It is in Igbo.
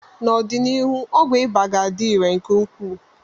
N'ọdịnihu ọgwụ ịba ga-adị irè nke ukwuu.